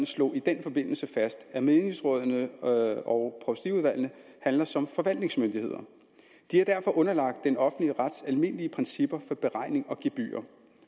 slog i den forbindelse fast at menighedsrådene og og provstiudvalgene handler som forvaltningsmyndigheder de er derfor underlagt den offentlige rets almindelige principper for beregning af gebyrer